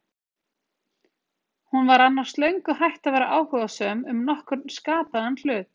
Hún sem var annars löngu hætt að vera áhugasöm um nokkurn skapaðan hlut.